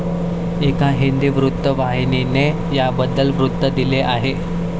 एका हिंदी वृत्तवाहिनीने याबद्दल वृत्त दिले आहे.